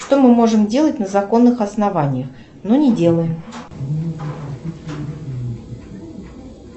что мы можем делать на законных основаниях но не делаем